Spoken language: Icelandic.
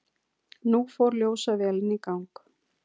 Nú fór ljósavélin í gang.